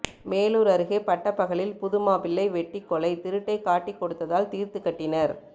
மேலூர் அருகே பட்டப்பகலில் புது மாப்பிள்ளை வெட்டி கொலை திருட்டை காட்டி கொடுத்ததால் தீர்த்து கட்டினர்